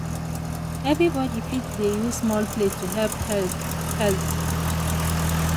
everybody fit dey use small plate to help health. health.